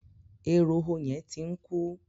Eroho yẹn ti ń kú.